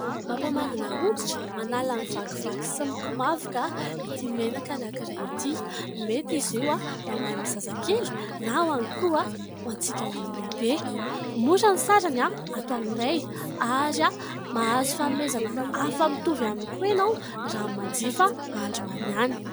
Mampamandina hoditra, manala ny vakivaky sy ny komavoka ity menaka anankiray ity. Mety izy io na ho an'ny zazakely, na ihany koa antsika olon-dehibe. Mora ny sarany ato aminay, ary mahazo fanomezana hafa mitovy aminy koa ianao, raha manjifa androany ihany.